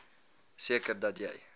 seker dat jy